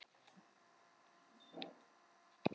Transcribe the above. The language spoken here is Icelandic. En ég var algjörlega ómeðvituð um hvað var að gerast.